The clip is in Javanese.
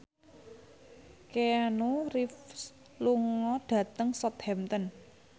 Keanu Reeves lunga dhateng Southampton